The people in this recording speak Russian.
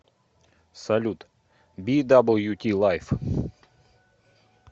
салют би дабл ю ти лайф